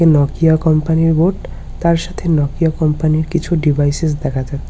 Nokia company -এর board তার সাথে নোকিয়া কোম্পানি -এর কিছু ডিভাইসেস দেখা যাচ্ছে।